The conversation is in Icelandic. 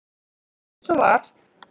Eins og var.